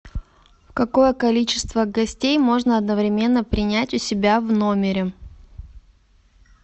какое количество гостей можно одновременно принять у себя в номере